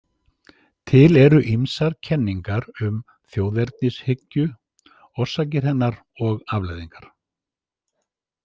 Til eru ýmsar kenningar um þjóðernishyggju, orsakir hennar og afleiðingar.